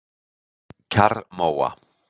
Kjarrmóa